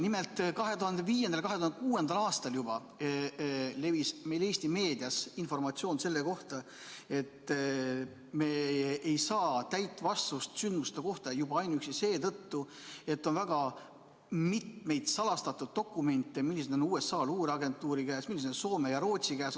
Nimelt, juba 2005.–2006. aastal levis Eesti meedias informatsioon, et me ei saa täit vastust sündmuste kohta juba ainuüksi seetõttu, et on mitmeid salastatud dokumente, mis on USA luureagentuuri, Soome ja Rootsi käes.